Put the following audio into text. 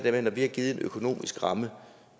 at vi når vi har givet en økonomisk ramme og